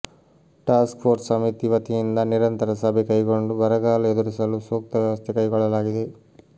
task force ಸಮಿತಿ ವತಿಯಿಂದ ನಿರಂತರ ಸಭೆ ಕೈಗೊಂಡು ಬರಗಾಲ ಎದುರಿಸಲು ಸೂಕ್ತ ವ್ಯವಸ್ಥೆ ಕೈಗೊಳ್ಳಲಾಗಿದೆ